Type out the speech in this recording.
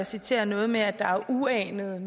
citere noget med at der er uanede